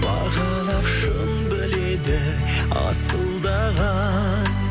бағалап шын біледі асылдаған